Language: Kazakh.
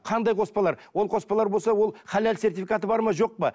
қандай қоспалар ол қоспалар болса ол халал сертификаты бар ма жоқ па